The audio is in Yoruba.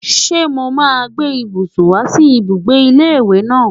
Ṣé mo máa gbé ibùsùn wá sí ibùgbé ilé ìwé náà?